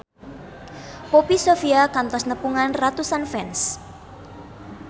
Poppy Sovia kantos nepungan ratusan fans